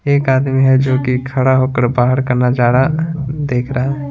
एक आदमी है जो कि खड़ा होकर बाहर का नजारा देख रहा है।